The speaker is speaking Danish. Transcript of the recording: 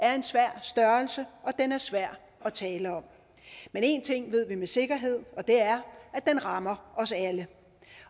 er en svær størrelse og den er svær at tale om men en ting ved vi med sikkerhed og det er at den rammer os alle